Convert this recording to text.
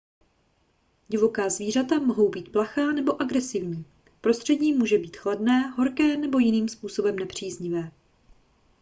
divoká zvířata mohou být plachá nebo agresivní prostředí může být chladné horké nebo jiným způsobem nepříznivé